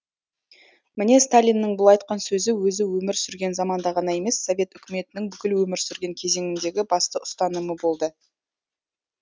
міне сталиннің бұл айтқан сөзі өзі өмір сүрген заманда ғана емес совет үкіметінің бүкіл өмір сүрген кезеңіндегі басты ұстанымы болды